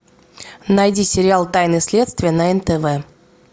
найди сериал тайны следствия на нтв